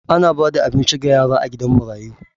Ana ba da abinci ga yara a gidan marayu.